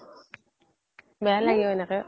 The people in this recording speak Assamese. বেয়া লাগে ও এনেকে